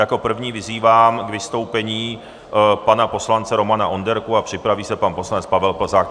Jako prvního vyzývám k vystoupení pana poslance Romana Onderku a připraví se pan poslanec Pavel Plzák.